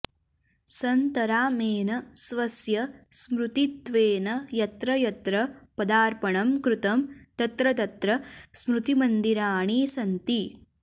सन्तरामेन स्वस्य स्मृतित्वेन यत्र यत्र पदार्पणं कृतं तत्र तत्र स्मृतिमन्दिराणि सन्ति